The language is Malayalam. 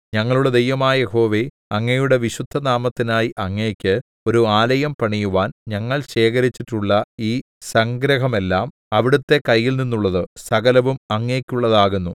ഞങ്ങളുടെ ദൈവമായ യഹോവേ അങ്ങയുടെ വിശുദ്ധനാമത്തിനായി അങ്ങയ്ക്ക് ഒരു ആലയം പണിയുവാൻ ഞങ്ങൾ ശേഖരിച്ചിട്ടുള്ള ഈ സംഗ്രഹമെല്ലാം അവിടുത്തെ കയ്യിൽനിന്നുള്ളത് സകലവും അങ്ങയ്ക്കുള്ളതാകുന്നു